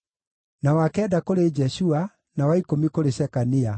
na wa kenda kũrĩ Jeshua, na wa ikũmi kũrĩ Shekania,